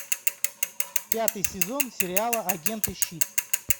пятый сезон сериала агенты щит